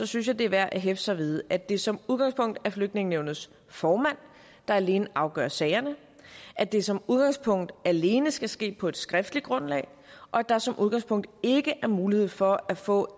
synes jeg det er værd at hæfte sig ved at det som udgangspunkt er flygtningenævnets formand der alene afgør sagerne at det som udgangspunkt alene skal ske på et skriftligt grundlag at der som udgangspunkt ikke er mulighed for at få